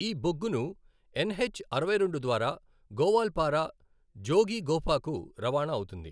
ఈ బొగ్గును ఎన్హెచ్ అరవై రెండు ద్వారా గోవాల్పారా, జోగీఘోపాకు రవాణా అవుతుంది.